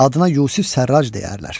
Adına Yusif Sərrac deyərlər.